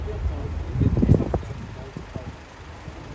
Biz gördüyümüz hər şey düzdür, hamısı eyni.